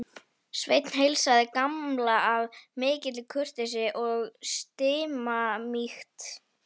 Sveinn heilsaði Gamla af mikilli kurteisi og stimamýkt.